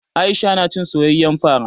Aisha na cin soyayyen fara.